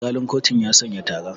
Alƙalin kotun ya sanya tara.